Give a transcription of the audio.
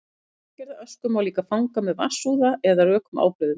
fíngerða ösku má líka fanga með vatnsúða eða rökum ábreiðum